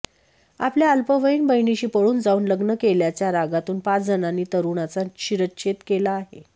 आपल्या अल्पवयीन बहीणीशी पळून जाऊन लग्न केल्याच्या रागातून पाच जणांनी तरुणाचा शिरच्छेद केला आहे